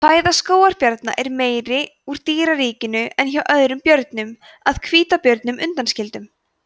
fæða skógarbjarna er meira úr dýraríkinu en hjá öðrum björnum að hvítabjörnum undanskildum